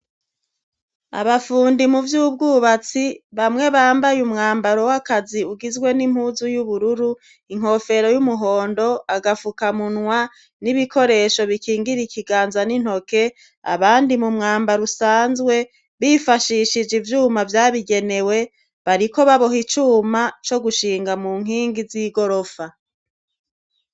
abafundi mu by'ubwubatsi bamwe bambaye umwambaro w'akazi ugizwe n'impuzu y'ubururu inkofero y'umuhondo agafuka munwa n'ibikoresho bikingira ikiganza n'intoke abandi mu mwambara usanzwe bifashishije ivyuma byabigenewe bariko baboha icuma co gushinga mu nkingi z'igorofa